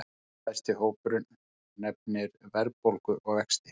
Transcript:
Næststærsti hópurinn nefnir verðbólgu og vexti